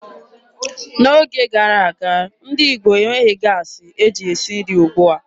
N'oge gara aga, ndị Igbo enweghị gaasị e ji esi nri ugbua.